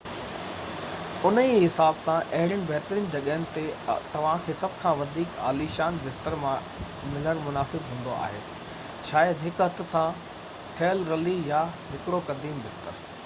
انهي ئي حساب سان اهڙين بهترين جڳهن تي توهان کي سڀ کان وڌيڪ عاليشان بستر ملڻ مناسب هوندو آهي شايد هڪ هٿ سان ٺهيل رلي يا هڪڙو قديم بستر